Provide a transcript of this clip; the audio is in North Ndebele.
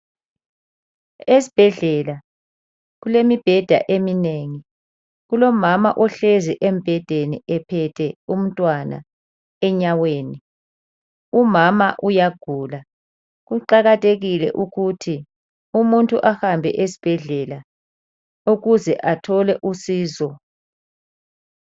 Esibhedlela kulemibheda eminengi, kulomama ohlezi embhedeni ephethe umntwana enyaweni, umama uyagula. Kuqakathekile ukuthi umuntu ahambe esibhedlela ukuze athole usizo.